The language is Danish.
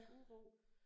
Uro